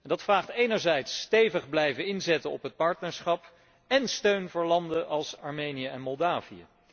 Dat vraagt om enerzijds stevig te blijven inzetten op het partnerschap én om steun voor landen als Armenië en Moldavië.